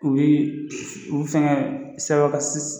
U bi u bi fɛngɛ